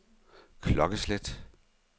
klokkeslæt